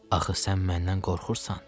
Axı sən məndən qorxursan?